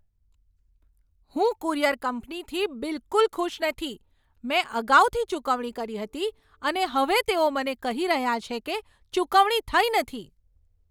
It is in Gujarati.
હું કુરિયર કંપનીથી બિલકુલ ખુશ નથી. મેં અગાઉથી ચૂકવણી કરી હતી, અને હવે તેઓ મને કહી રહ્યા છે કે ચુકવણી થઈ નથી!